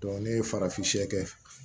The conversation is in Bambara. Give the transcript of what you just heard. ne ye farafinɲɛ kɛ